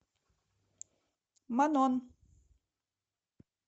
манон